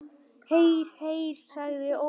Heyr, heyr sagði Ólafur.